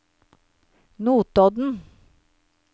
Notodden